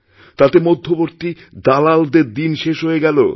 তাতে মধ্যবর্তী দালালদের দিন শেষ হয়ে গেল